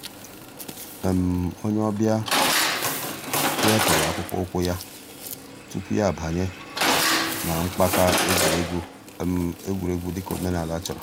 ònyè ọ̀ bịa wépụ̀rù àkpụ̀kpọ̀ ǔ́kwụ̀ yà túpù yà àbànyè nà mpàka ègwè́ré́gwụ̀ ègwè́ré́gwụ̀ dị̀ka òmènàlà chọ̀rọ̀.